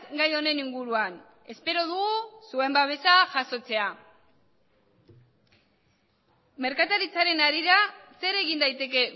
gai honen inguruan espero dugu zuen babesa jasotzea merkataritzaren harira zer egin daiteke